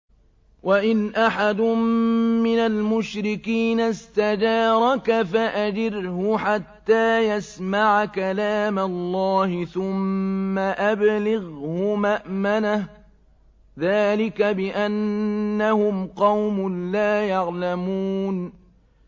وَإِنْ أَحَدٌ مِّنَ الْمُشْرِكِينَ اسْتَجَارَكَ فَأَجِرْهُ حَتَّىٰ يَسْمَعَ كَلَامَ اللَّهِ ثُمَّ أَبْلِغْهُ مَأْمَنَهُ ۚ ذَٰلِكَ بِأَنَّهُمْ قَوْمٌ لَّا يَعْلَمُونَ